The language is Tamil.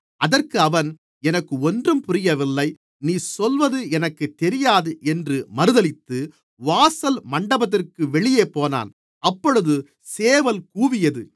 அதற்கு அவன் எனக்கு ஒன்றும் புரியவில்லை நீ சொல்வது எனக்குத் தெரியாது என்று மறுதலித்து வாசல் மண்டபத்திற்கு வெளியேப் போனான் அப்பொழுது சேவல் கூவியது